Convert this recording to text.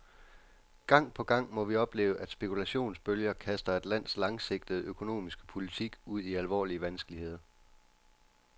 Gang på gang må vi opleve, at spekulationsbølger kaster et lands langsigtede økonomiske politik ud i alvorlige vanskeligheder.